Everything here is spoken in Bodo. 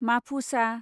माफुसा